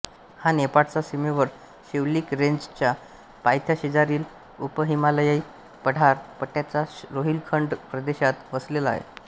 हा नेपाळच्या सीमेवर शिवलिक रेंजच्या पायथ्याशेजारील उपहिमालयीय पठार पट्ट्याच्या रोहिलखंड प्रदेशात वसलेला आहे